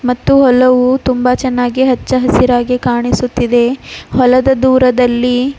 ಮತ್ತು ಹೊಲವು ತುಂಬ ಚೆನ್ನಾಗಿ ಹಚ್ಚ ಹಸಿರಾಗಿ ಕಾಣಿಸುತ್ತಿದೆ ಹೊಲದ ದೂರದಲ್ಲಿ--